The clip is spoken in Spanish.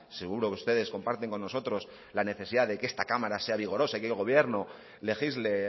seguro que ustedes comparten con nosotros la necesidad de que esta cámara sea vigorosa y el gobierno legisle